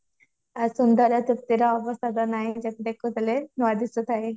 ଆଉ ସୁନ୍ଦର ତୃପ୍ତିର ଅବସାଦ ନାହିଁ ଯେତେ ଦେଖୁଥିଲେ ନୂଆ ଦିଶୁ ଥାଇ